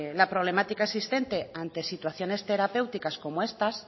la problemática existente ante situaciones terapéuticas como estas